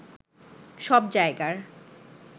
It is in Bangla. সব জায়গার